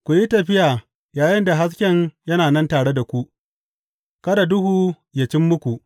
Ku yi tafiya yayinda hasken yana nan tare da ku, kada duhu yă cim muku.